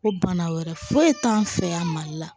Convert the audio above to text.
Ko bana wɛrɛ foyi t'an fɛ yan mali la